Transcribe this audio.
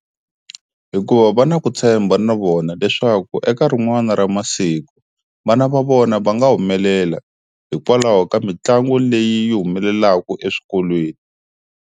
Hikuva va na ku tshemba na vona leswaku eka rin'wani ra masiku vana va vona va nga humelela hikwalaho ka mitlangu leyi humelelaka eswikolweni.